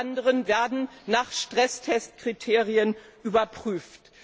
Alle anderen werden nach Stresstestkriterien überprüft.